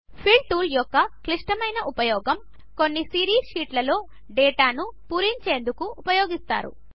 fill tool యొక్క క్లిష్టమైన ఉపయోగము కొన్ని సిరీస్ షీట్లు లో డేటాను పూరించేందుకు ఉపయోగిస్తారు